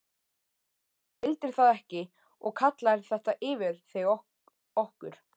Þú vildir það ekki og kallaðir þetta yfir þig, okkur.